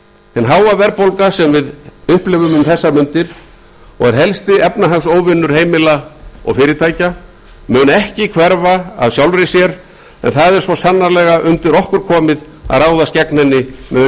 hin háa verðbólga sem við upplifum um þessar mundir og er helsti efnahagsóvinur heimila og fyrirtækja mun ekki hverfa af sjálfri sér en það er svo sannarlega undir okkur komið að ráðast gegn henni með